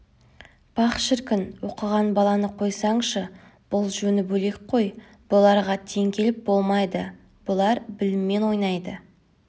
пах шіркін оқыған баланы қойсаңшы бұл жөні бөлек қой бұларға тең келіп болмайды бұлар біліммен ойнайды